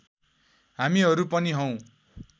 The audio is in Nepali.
हामीहरू पनि हौं